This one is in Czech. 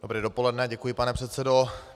Dobré dopoledne, děkuji, pane předsedo.